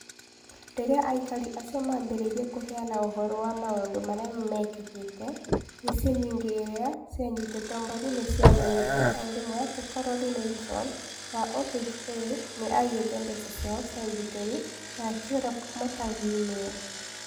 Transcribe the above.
Rĩrĩa aikari acio maambĩrĩirie kũheana ũhoro wa maũndũ marĩa meekĩkĩte, mĩciĩ mĩingĩ iria cianyitĩtwo mbaru nĩ ciamenyire o rĩmwe atĩ Carolyn Wilson wa OHA nĩ aiyĩte mbeca ciao cia ũgitĩri, na akĩũra kuuma taũni-inĩ ĩyo.